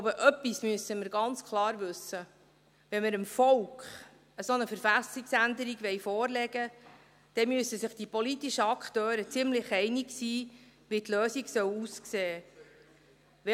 Ich glaube, etwas müssen wir ganz klar wissen: Wenn wir dem Volk eine solche Verfassungsänderung vorlegen wollen, dann müssen sich die politischen Akteure ziemlich einig sein, wie die Lösung aussehen soll.